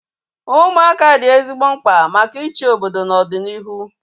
Ụmụaka dị ezigbo mkpa maka ịchị obodo na ọdịnihu